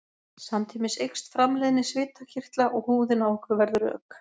samtímis eykst framleiðni svitakirtla og húðin á okkur verður rök